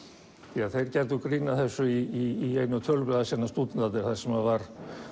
því að þeir gerðu grín að þessu í einu tölublaða sinna stúdentarnir þar sem var